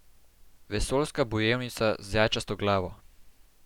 Vesoljska bojevnica z jajčasto glavo.